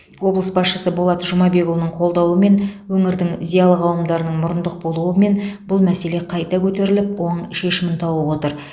облыс басшысы болат жұмабекұлының қолдауымен өңірдің зиялы қауымдарының мұрындық болуымен бұл мәселе қайта көтеріліп оң шешімін тауып отыр